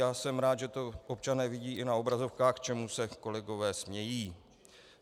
Já jsem rád, že to občané vidí i na obrazovkách, čemu se kolegové smějí.